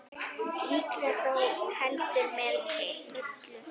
Líklega þó heldur með illu.